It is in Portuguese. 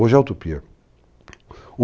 Hoje é a utopia.